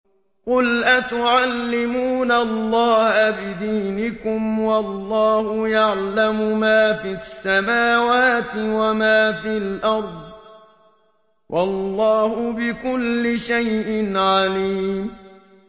قُلْ أَتُعَلِّمُونَ اللَّهَ بِدِينِكُمْ وَاللَّهُ يَعْلَمُ مَا فِي السَّمَاوَاتِ وَمَا فِي الْأَرْضِ ۚ وَاللَّهُ بِكُلِّ شَيْءٍ عَلِيمٌ